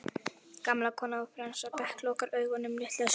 Gamla konan á fremsta bekk lokar augunum litla stund.